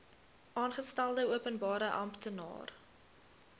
aangestelde openbare amptenaar